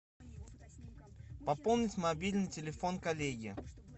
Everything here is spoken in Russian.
пополнить мобильный телефон коллеги